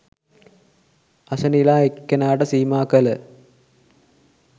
අසෙනිලා එක්නෙක්ට සීමා කල